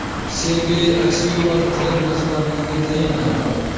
Sergey Aksyonov Qrim rahbarligiga tayinlandi.